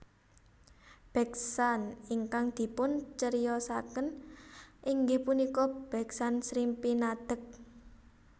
Beksan ingkang dipun ceriosaken inggih punika beksan Srimpi Nadheg